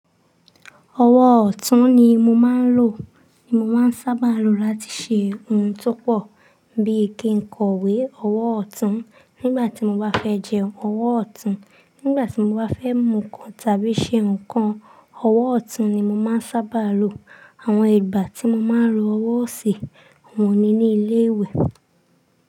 Ọwọ́ ọ̀tún ni mo máa ń lò, ni mo máa ń sábà lo láti ṣe ohun tó pọ̀ bí i kí n kọ̀wé, ọwọ́ ọ̀tún nígbà tí mo bá fẹ́ jẹun, ọwọ́ ọ̀tún nígbà tí mo bá fẹ́ mu ǹkan tàbí ṣe ǹkan, ọwọ́ ọ̀tún ni mo máa ń sábà lo. Àwọn ìgbà tí mo máa ń lo ọwọ́ ọ̀si, oun ni inu ilé ìwẹ̀.